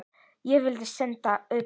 Ég vil senda þá utan!